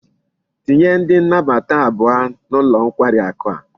Tinye ndi nabata abuo n'ulo nkwari aku a